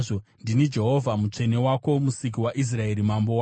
Ndini Jehovha, Mutsvene Wenyu, Musiki waIsraeri, Mambo wenyu.”